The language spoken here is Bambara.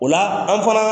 O la an fana